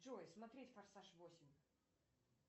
джой смотреть форсаж восемь